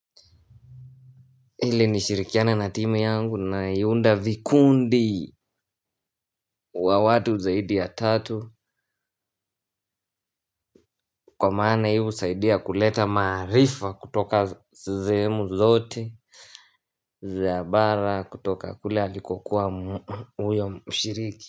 Ili nishirikiane na timu yangu na iunda vikundi wa watu zaidi ya tatu. Kwa maana hivo husaidia kuleta maarifa kutoka zehemu zote Zabara kutoka kule haliko kuwa uyo mshiriki.